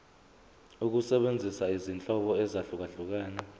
ukusebenzisa izinhlobo ezahlukehlukene